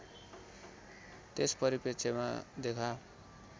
त्यस परिप्रेक्ष्यमा देखा